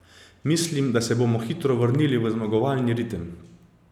Mislim, da se bomo hitro vrnili v zmagovalni ritem.